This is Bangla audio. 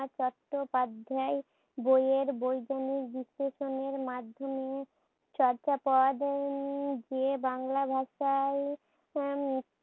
চট্টোপধ্যায় বইয়ের বৈজ্ঞানিক বিশ্লেষণের মাধ্যমে চর্যাপদও উম যে বাংলা ভাষায়